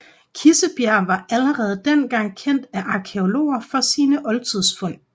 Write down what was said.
Kissebjerg var allerede dengang kendt af arkæologer for sine oldtidsfund